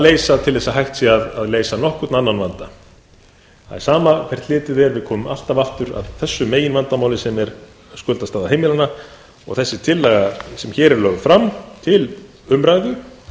leysa til þess að hægt sé að leysa nokkurn annan vanda það er sama hvert litið er við komum alltaf aftur að þessu meginvandamáli sem er skuldastaða heimilanna og þessi tillaga sem hér er lögð fram til umræðu